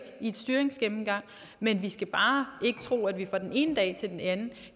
en styringsgennemgang men vi skal bare ikke tro at vi fra den ene dag til den anden